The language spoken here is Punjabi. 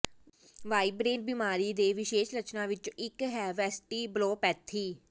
ਵਾਈਬ੍ਰੇਨ ਬੀਮਾਰੀ ਦੇ ਵਿਸ਼ੇਸ਼ ਲੱਛਣਾਂ ਵਿੱਚੋਂ ਇੱਕ ਹੈ ਵੈਸਟਿਬਲੋਪੈਥੀ